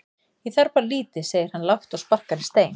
Ég þarf bara lítið segir hann lágt og sparkar í stein.